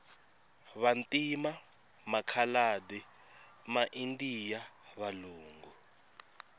vantima makhaladi ma indiya valungu